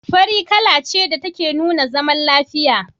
Fari kala ce da take nuna zaman lafiya.